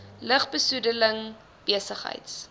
lug besoedeling besigheids